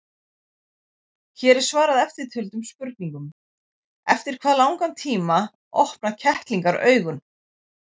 Hér er svarað eftirtöldum spurningum: Eftir hvað langan tíma opna kettlingar augun?